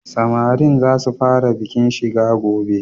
Samarin za su fara bikin shiga gobe.